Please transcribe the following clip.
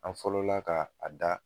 An fɔlɔla ka a da